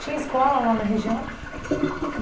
Tinha escola lá na região?